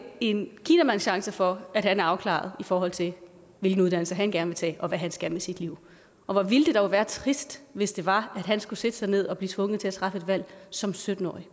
en kinamands chance for at han er afklaret i forhold til hvilken uddannelse han gerne vil tage og hvad han skal med sit liv og hvor ville det dog være trist hvis det var at han skulle sætte sig ned og blive tvunget til at træffe et valg som sytten årig